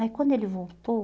Aí quando ele voltou,